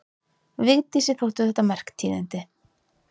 Vigdísi þóttu þetta merk tíðindi.